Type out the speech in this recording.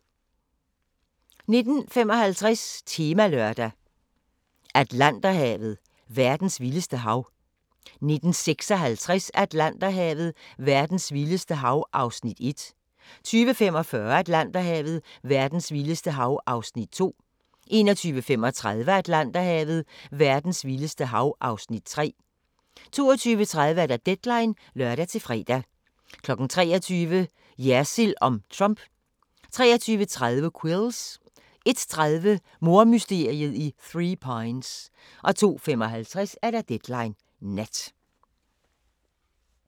19:55: Temalørdag: Atlanterhavet: Verdens vildeste hav 19:56: Atlanterhavet: Verdens vildeste hav (Afs. 1) 20:45: Atlanterhavet: Verdens vildeste hav (Afs. 2) 21:35: Atlanterhavet: Verdens vildeste hav (Afs. 3) 22:30: Deadline (lør-fre) 23:00: Jersild om Trump 23:30: Quills 01:30: Mordmysteriet i Three Pines 02:55: Deadline Nat